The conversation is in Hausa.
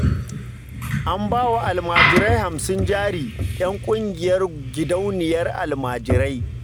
An ba wa almajirai hamsin jari 'yan ƙungiyar gidauniyar almajirai